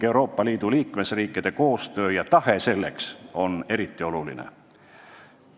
Euroopa Liidu liikmesriikide koostöötahe on siin eriti oluline.